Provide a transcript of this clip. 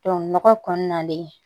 nɔgɔ kɔnɔna de